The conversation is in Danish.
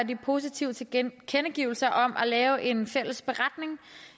de positive tilkendegivelser om at lave en fælles beretning